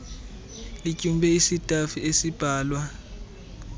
lityumbe isitafu esimbalwa